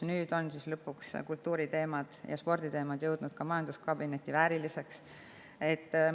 Nüüd lõpuks on siis kultuuri‑ ja sporditeemad saanud ka majanduskabineti vääriliseks.